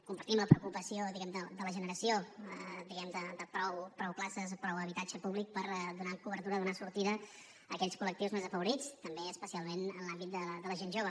compartim la preocupació diguem ne de la generació de prou places prou habitatge públic per donar cobertura donar sortida a aquells collectius desafavorits també especialment en l’àmbit de la gent jove